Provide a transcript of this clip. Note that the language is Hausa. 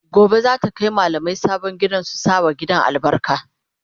Gobe zata Kai mallamai sabon gidan su sa wa gidan albarka